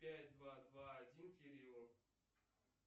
пять два два один кириллу